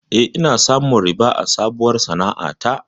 Eh, ina samun riba a sabuwar sana'a ta.